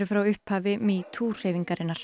frá upphafi metoo hreyfingarinnar